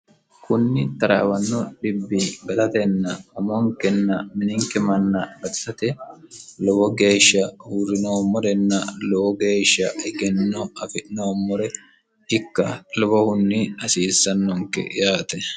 konni taraawanno dhibbi gatatenna umonikkenna mininikk manna gatisate lowo geeshsha uurrinoommorenna lowo geeshsha egenno afi'noommore ikka lowohuhunni hasiissannonke yaate